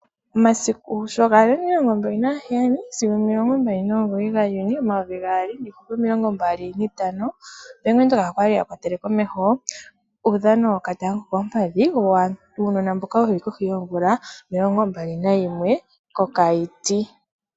Omasiku sho gali 27-29 June 2025, Bank Windhoek okwali akwatele komeho uudhano woka tanga ko koompadhi, uunona mboka wuli kohi yoomvula omilongo mbali na yimwe ko Keetmanshop.